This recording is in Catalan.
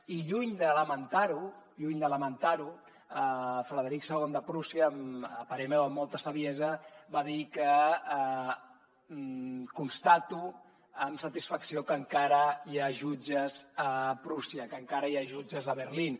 i lluny de lamentar ho lluny de lamentar ho frederic ii de prússia a parer meu amb molta saviesa va dir constato amb satisfacció que encara hi ha jutges a prússia que encara hi ha jutges a berlín